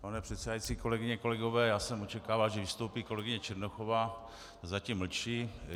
Pane předsedající, kolegyně kolegové, já jsem očekával, že vystoupí kolegyně Černochová, zatím mlčí.